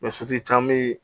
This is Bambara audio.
caman be yen